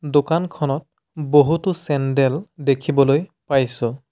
দোকানখনত বহুতো চেণ্ডেল দেখিবলৈ পাইছোঁ।